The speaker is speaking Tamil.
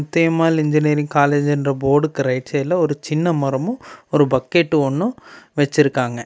முத்தையம்மாள் இன்ஜினியரிங் காலேஜ்ன்ற போர்டுக்கு ரைட் சைடுல சின்ன மரமும் ஒரு பக்கெட் ஒன்னும் வெச்சிருக்காங்க.